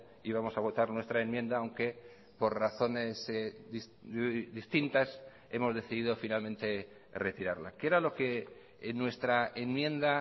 íbamos a votar nuestra enmienda aunque por razones distintas hemos decidido finalmente retirarla qué era lo que en nuestra enmienda